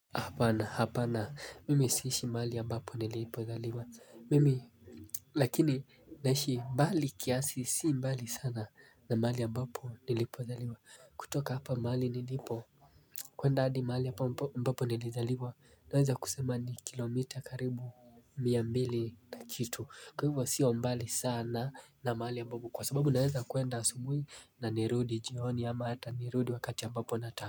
Hapana hapana mimi siishi mahali ya mbapo nilipo zaliwa mimi lakini naishi mbali kiasi si mbali sana na mahali ambapo nilipo zaliwa kutoka hapa mahali nilipo kuenda hadi mahali ambapo nilizaliwa naweza kusema ni kilomita karibu miambili na kitu kwa hivyo siyo mbali sana na mahali ambapo kwa sababu naweza kuenda asubuhi na nirudi jihoni ama hata nirudi wakati mbapo na taka.